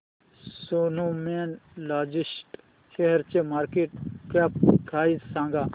Snowman logistics शेअरची market cap price सांगा